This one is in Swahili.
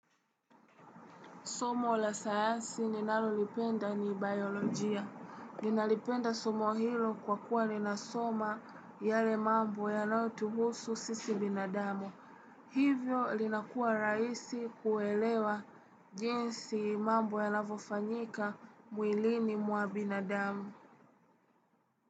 Somo la sayansi ninalolipenda ni biolojia. Ninalipenda somo hilo kwa kuwa linasoma yale mambo yanayotuhusu sisi binadamo. Hivyo linakuwa raisi kuelewa jinsi mambo yanavofanyika mwilini mwa binadamu.